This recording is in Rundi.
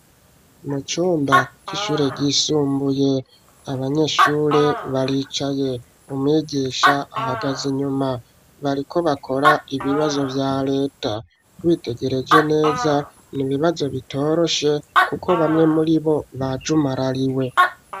Mu cumba c'ishure ryisumbuye, abanyeshure baricaye; umwigisha ahagaze inyuma, bariko bakora ibibazo vya leta; witegereje neza, ni ibibazo bitoroshe, kuko bamwe muri bo, bajumarariwe.